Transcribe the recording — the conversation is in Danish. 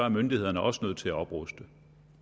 myndighederne også nødt til at opruste